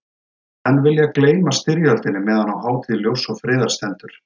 Menn vilja gleyma styrjöldinni meðan á hátíð ljóss og friðar stendur.